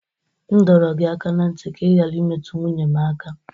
M dọrọ gị aka ná ntị ka ị ghara imetụ nwunye m aka!